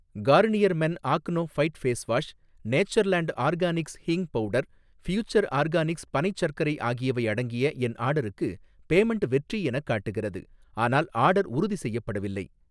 Garnier men acno fight face wash, Natureland organics hing powder, future organics பனைச் சர்க்கரை ஆகியவை அடங்கிய என் ஆர்டருக்கு பேமென்ட் வெற்றி எனக் காட்டுகிறது ஆனால் ஆர்டர் உறுதி செய்யப்படவில்லை